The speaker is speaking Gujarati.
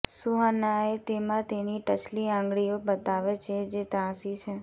સુહાનાએ તેમાં તેની ટચલી આંગળીઓ બતાવે છે જે ત્રાંસી છે